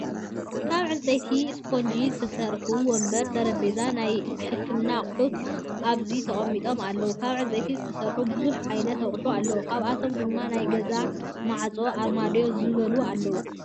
ካብ ዕንፀይትን እስፖንጅን ዝተሰርሐ ወንበርን ጠሬጰዛ ናይ ሕክምና ኣቁሑት ኣብዙ ተጠሚጡም ኣለው። ካብ ዕንፀይቲ ዝተሰርሑ ብዙሕ ዓይነታት ኣቁሑት ኣለው። ካብ ኣቶም ድማ ናይ ገዛ ማዕፆ፣ ኣርማድዮ፣ ዝበሉ ኣለው።